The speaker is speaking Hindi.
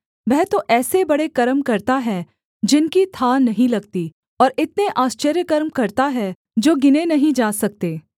वह तो ऐसे बड़े कर्म करता है जिनकी थाह नहीं लगती और इतने आश्चर्यकर्म करता है जो गिने नहीं जा सकते